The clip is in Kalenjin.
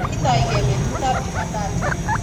Kitoige betutab Jumatatu